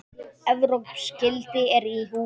Evrópsk gildi eru í húfi.